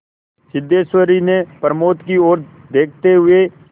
सिद्धेश्वरी ने प्रमोद की ओर देखते हुए